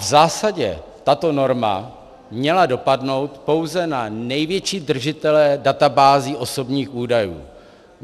V zásadě tato norma měla dopadnout pouze na největší držitele databází osobních údajů.